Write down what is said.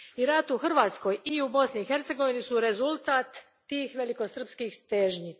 I rat u Hrvatskoj i u Bosni i Hercegovini su rezultat tih velikosrpskih težnji.